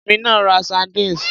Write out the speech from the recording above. Èmi náà ra sardines.